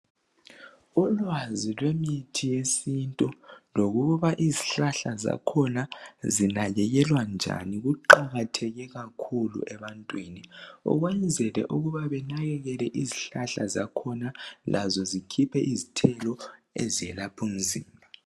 Ulwazi lwemithi yesintu lokuba izihlahla zakhona zinakekelwa njani kuqakatheke kakhulu ebantwini ukwenzela ukuba banakakele izihlahla zakhona lazo zikhiphe izithelo ezelapha umzimba.